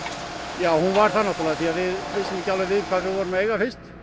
já hún var það við vissum ekki við hvað við vorum að eiga fyrst